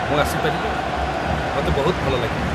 ମୁଁ ଆସିପାରିବି? ମୋତେ ବହୁତ ଭଲ ଲାଗିବ ।